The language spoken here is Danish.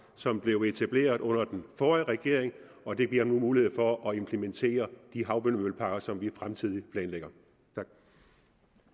som blev etableret under den forrige regering og det giver nu mulighed for at implementere de havvindmølleparker som vi planlægger fremtiden tak